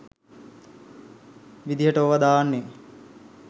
විදියට ඕවා දාන්නේ.